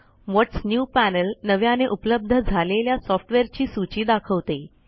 व्हॉट्स new panel नव्याने उपलब्ध झालेल्या सॉफ्टवेअरची सूची दाखवते